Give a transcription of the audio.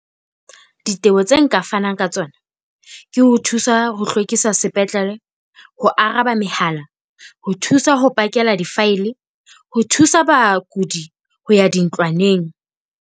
Diteboho tse nka fanang ka tsona ke ho thusa ho hlwekisa sepetlele, ho araba mehala, ho thusa ho pakela di-file, ho thusa bakudi ho ya dintlwaneng.